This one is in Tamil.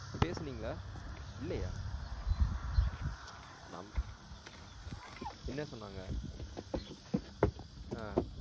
பேசுனீங்களா இல்லையா நம் என்ன சொன்னாங்க ஆஹ்